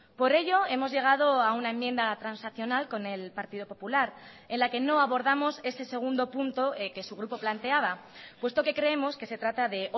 por ello hemos llegado a una enmienda transaccional con el partido popular en la que no abordamos ese segundo punto que su grupo planteaba puesto que creemos que se trata de